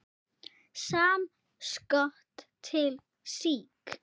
Samskot til SÍK.